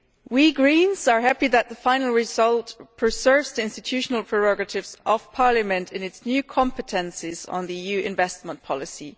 We Greens are happy that the final result preserves the institutional prerogatives of Parliament in its new competences on the EU investment policy.